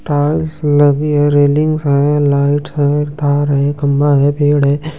Tiles लगी है railings है लाइट है तार है खंभा है पेड़ है।